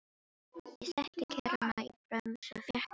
Ég setti kerruna í bremsu og fékk mér sæti.